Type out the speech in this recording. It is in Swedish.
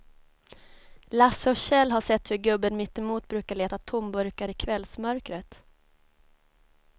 Lasse och Kjell har sett hur gubben mittemot brukar leta tomburkar i kvällsmörkret.